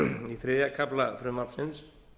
í þriðja kafla frumvarpsins